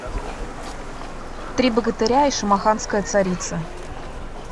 три богатыря и шамаханская царица